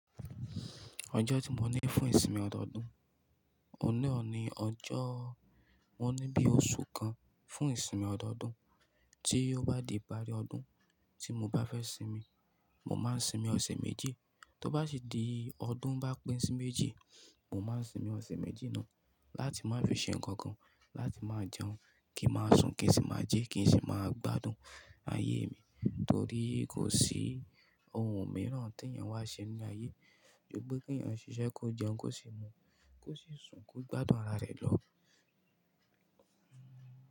Ọjọ́ tí mo ní fún ìsinmi ọdọọdún, ọ̀nà ni ọjọ́ mo ní bí oṣù kan fún ìsinmi ọdọọdún. Tí ó bá di ìparí ọdún tí mo bá fẹ́ sinmi, mo máa sinmi ọ̀sẹ̀ méjì. Tó bá sì di ọdún bá pín sí méjì, mo máa sinmi ọ̀sẹ̀ méjì náà láti má fi ṣe ǹkankan, láti má jẹun, kí n máa sùn, kí n sì má jẹ, kí n sì máa gbádùn ayé mi. Nítorí kò sí ohun mìíràn tí èèyàn wá ṣe ní ayé, ju gbékèyìn ṣíṣe kó jẹun, kó sì mu, kó sì sùn, kó gbádùn ara rẹ̀ lọ.